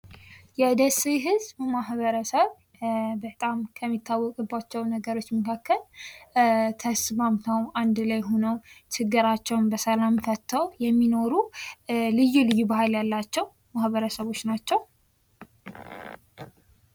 የደሴ ህዝብ በማህበረሰብ በጣም ከሚታወቅባቸው ነገሮች መካከል ተስማምተው አንድ ላይ ሆነው ችግራቸውን በሰላም ፈትተው የሚኖሩ ልዩ ልዩ ባህል ያላቸው ማበረሰቦች ናቸው።